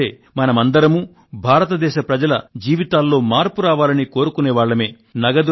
ఎందుకంటే మనమందరమూ భారతదేశ పేద ప్రజల జీవితాల్లో మార్పు రావాలని కోరుకునే వాళ్ళమే